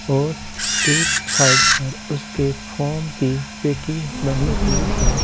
और एक साइड पर उसके फोम की पेटी बनी हुई है।